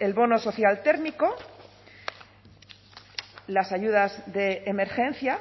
el bono social térmico las ayudas de emergencia